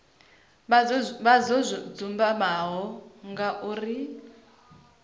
vha zwo dzumbama nga uri